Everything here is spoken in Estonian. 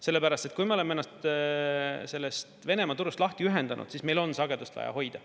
Sellepärast et kui me oleme ennast sellest Venemaa turust lahti ühendanud, siis meil on sagedust vaja hoida.